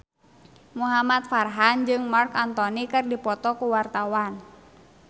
Muhamad Farhan jeung Marc Anthony keur dipoto ku wartawan